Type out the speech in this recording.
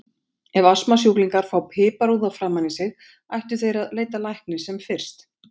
Ef astmasjúklingar fá piparúða framan í sig ættu þeir að leita læknis sem fyrst.